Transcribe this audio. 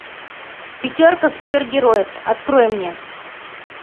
пятерка супергероев открой мне